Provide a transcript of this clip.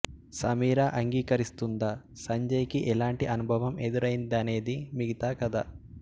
సమీరా అంగీకరిస్తుందా సంజయ్ కి ఎలాంటి అనుభవం ఎదురైందనేది మిగతా కథ